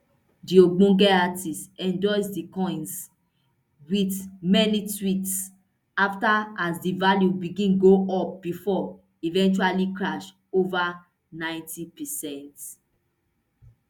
di ogbonge artiste endorse di coins wit many tweets afta as di value begin go up bifor eventually crash ova ninety percent